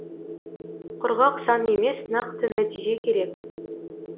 құрғақ сан емес нақты нәтиже керек